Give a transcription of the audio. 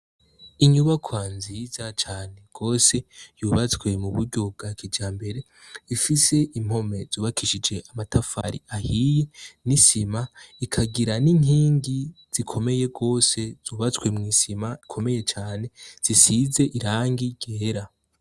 Inyubako nziza cane rwose yubatswe mu buryo bwa kijambere, ifise impome zubakishije amatafari ahiye n'isima, ikagira n'inkingi zikomeye rwose zubatswe mw'isima ikomeye cane zisize irangi ryera.